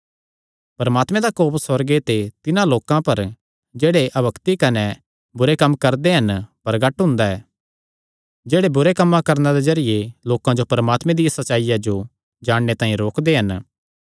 परमात्मे दा कोप सुअर्गे ते तिन्हां लोकां पर जेह्ड़े अभक्ति कने बुरे कम्म करदे हन प्रगट हुंदा ऐ जेह्ड़े बुरे कम्मां करणे दे जरिये लोकां जो परमात्मे दिया सच्चाईया जो जाणने तांई रोकदे हन